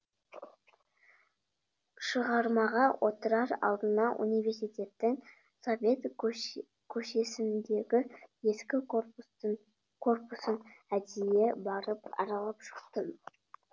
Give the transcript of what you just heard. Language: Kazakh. шығармаға отырар алдында университеттің совет көшесіндегі ескі корпусын әдейі барып аралап шықтым